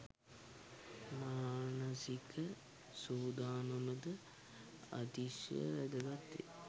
මානසික සූදානම ද අතිශය වැදගත් වේ.